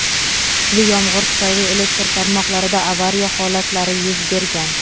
kuchli yomg‘ir tufayli elektr tarmoqlarida "avariya" holatlari yuz bergan.